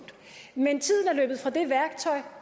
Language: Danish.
men tiden er løbet fra det værktøj